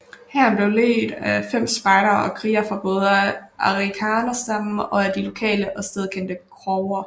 Hæren blev ledt frem af spejdere og krigere fra både arikara stammen og af de lokale og stedkendte crower